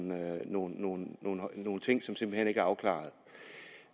nogle nogle ting som simpelt hen ikke er afklaret